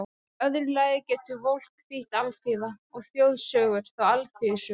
Í öðru lagi getur Volk þýtt alþýða, og þjóðsögur þá alþýðusögur.